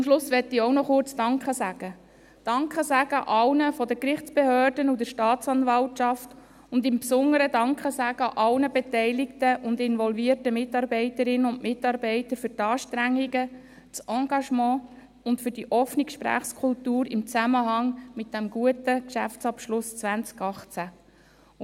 Zum Schluss möchte ich auch noch kurz danke sagen, allen seitens der Gerichtsbehörden und der Staatsanwaltschaft sowie insbesondere allen beteiligten und involvierten Mitarbeiterinnen und Mitarbeitern für die Anstrengungen, das Engagement und für die offene Gesprächskultur im Zusammen hang mit diesem guten Geschäftsabschluss 2018.